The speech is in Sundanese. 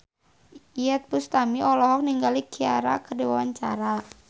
Iyeth Bustami olohok ningali Ciara keur diwawancara